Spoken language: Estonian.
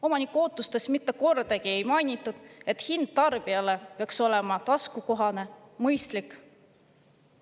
Omaniku ootustes mitte kordagi ei ole mainitud, et hind tarbijale peaks olema taskukohane, mõistlik.